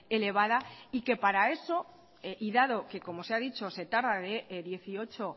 elevada y que para eso y dado que como se ha dicho se tarda de dieciocho